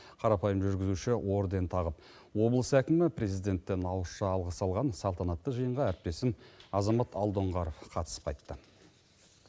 қарапайым жүргізуші орден тағып облыс әкімі президенттен ауызша алғыс алған салтанатты жиынға әріптесім азамат алдоңғаров қатысып қайтты